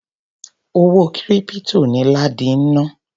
Owó kírípítò ni ládi ń ná.